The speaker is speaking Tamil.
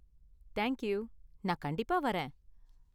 தேங்க் யூ, நான் கண்டிப்பா வரேன்.